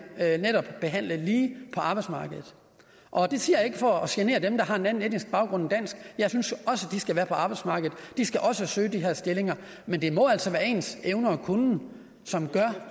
behandlet lige på arbejdsmarkedet og det siger jeg ikke for at genere dem der har en anden etnisk baggrund end dansk jeg synes også de skal være på arbejdsmarkedet de skal også søge de her stillinger men det må altså være ens evner og kunnen som gør